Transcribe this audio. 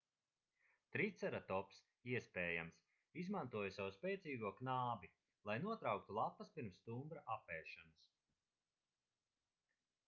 triceratops iespējams izmantoja savu spēcīgo knābi lai notrauktu lapas pirms stumbra apēšanas